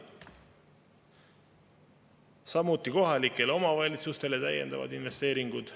Samuti, kohalikele omavalitsustele täiendavad investeeringud.